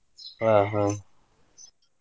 ಹ್ಮಹ್ಮ.